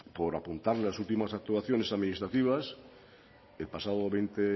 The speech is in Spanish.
por apuntar las últimas actuaciones administrativas el pasado veinte